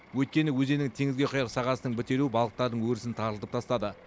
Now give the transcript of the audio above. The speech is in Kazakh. өйткені өзеннің теңізге құяр сағасының бітелуі балықтардың өрісін тарылтып тастады